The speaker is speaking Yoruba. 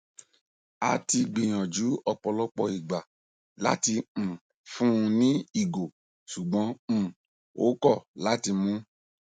a ti gbiyanju ọpọlọpọ igba lati um fun un ni igo ṣugbọn um o kọ lati mu